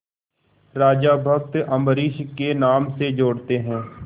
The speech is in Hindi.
राजा भक्त अम्बरीश के नाम से जोड़ते हैं